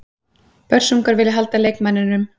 Börsungar vilja halda leikmanninum.